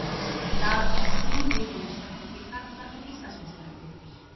Í dag keppa þrjú lið í meistaraflokki karla um Íslandsmeistaratitil.